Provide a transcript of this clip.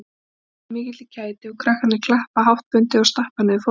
Svarið veldur mikilli kæti og krakkarnir klappa háttbundið og stappa niður fótunum